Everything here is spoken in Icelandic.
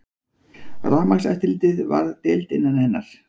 Rafmagnseftirlitið varð deild innan hennar.